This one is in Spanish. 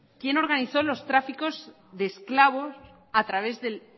quién organizó los tráficos de esclavos a través del